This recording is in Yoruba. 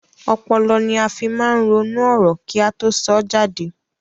Ọpọlọ ní a fí máa ń ronú ọ̀rọ̀ kí a tó sọ jáde